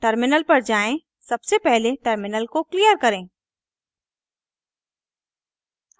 terminal पर जाएँ सबसे पहले टर्मिनल को क्लियर करें